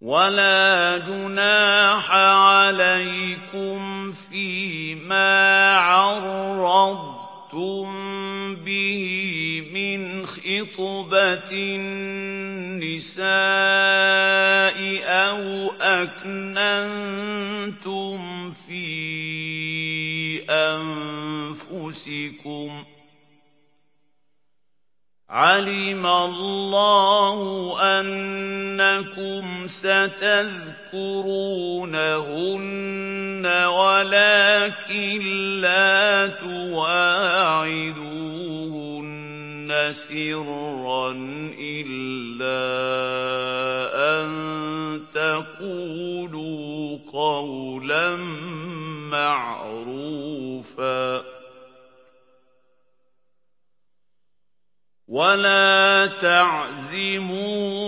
وَلَا جُنَاحَ عَلَيْكُمْ فِيمَا عَرَّضْتُم بِهِ مِنْ خِطْبَةِ النِّسَاءِ أَوْ أَكْنَنتُمْ فِي أَنفُسِكُمْ ۚ عَلِمَ اللَّهُ أَنَّكُمْ سَتَذْكُرُونَهُنَّ وَلَٰكِن لَّا تُوَاعِدُوهُنَّ سِرًّا إِلَّا أَن تَقُولُوا قَوْلًا مَّعْرُوفًا ۚ وَلَا تَعْزِمُوا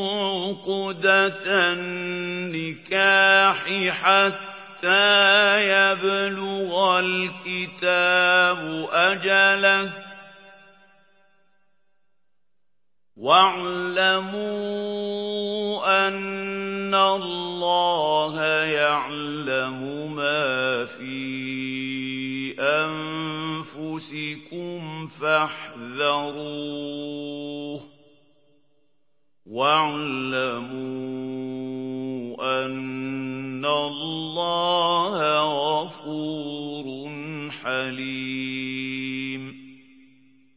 عُقْدَةَ النِّكَاحِ حَتَّىٰ يَبْلُغَ الْكِتَابُ أَجَلَهُ ۚ وَاعْلَمُوا أَنَّ اللَّهَ يَعْلَمُ مَا فِي أَنفُسِكُمْ فَاحْذَرُوهُ ۚ وَاعْلَمُوا أَنَّ اللَّهَ غَفُورٌ حَلِيمٌ